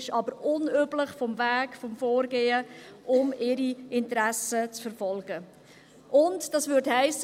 Der Weg und das Vorgehen, um ihre Interessen zu verfolgen, sind aber unüblich.